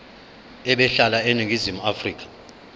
ebehlala eningizimu afrika